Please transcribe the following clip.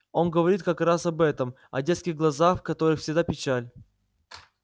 он говорит как раз об этом о детских глазах в которых всегда печаль